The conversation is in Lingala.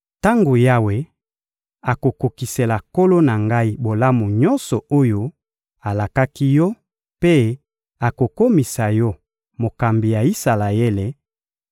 Tango Yawe akokokisela nkolo na ngai bolamu nyonso oyo alakaki yo mpe akokomisa yo mokambi ya Isalaele,